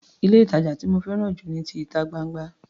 Ilé-ìtàjà tí mo fẹ́ràn jù ni ti ìta gbangba.